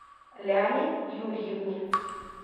ляне юрьевне